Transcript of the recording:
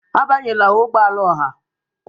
Abanyela ụgbọ ala ọha!